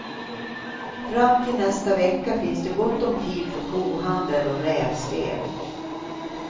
Fram till nästa vecka finns det gott om tid för kohandel och rävspel.